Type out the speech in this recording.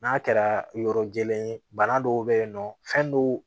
N'a kɛra yɔrɔ jɛlen ye bana dɔw bɛ yen nɔ fɛn dɔw